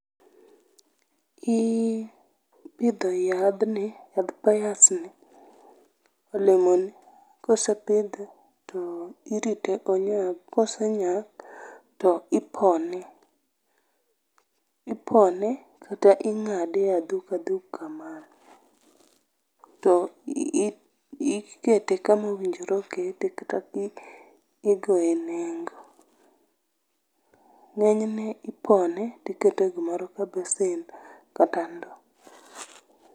Iiih, ipidho yadhni, yadh pears ni, olemo ni. Ka osepidhe irite onyag, kosenyak, ipone kata ingade adhup adhup kamano to ikete kama owinjore okete kata igoye nengo. Ngenyne ipone tikete e gimoro kaka besen kata ndoo